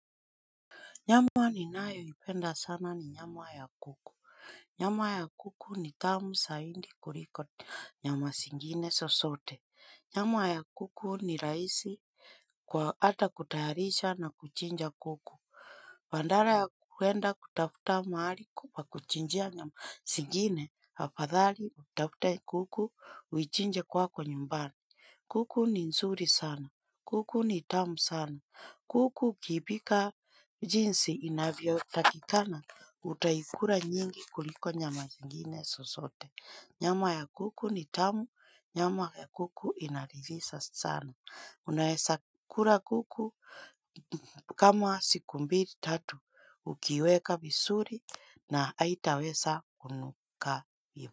Nyama ninayo ipenda sana ni nyama ya kuku. Nyama ya kuku ni tamu zaidi kuliko nyama zingine zozote. Nyama ya kuku ni rahisi kwa hata kutayarisha na kuchinja kuku. Badala ya kuenda kutafuta mahali pa kuchinjia nyama zingine afadhali tafuta kuku uichinje kwako nyumbani. Kuku ni nzuri sana. Kuku ni tamu sana. Kuku ukiipika jinsi inavyo takikana utaikula nyingi kuliko nyama zingine zozote. Nyama ya kuku ni tamu, nyama ya kuku inaridhisha sana. Unaweza kula kuku kama siku mbili tatu ukiwela vizuri na haitaweza kunuka.